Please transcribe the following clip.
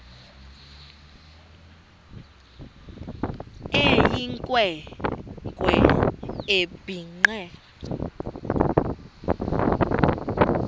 eyinkwe nkwe ebhinqe